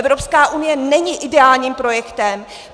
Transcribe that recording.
Evropská unie není ideálním projektem.